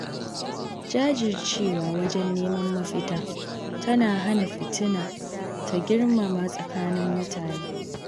Jajircewa wajen neman mafita tana hana fitina ta girmama tsakanin mutane